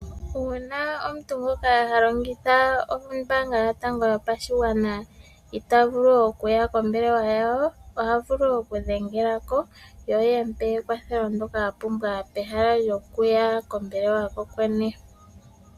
Uuna omuntu ngoka ha longitha ombaanga yotango yopashigwana itaa vulu okuya kombelewa yawo oha vulu oku dhengela ko yo ye mu pe ekwatho ndyoka a pumbwa peha lyokuya kombaanga ko kwene.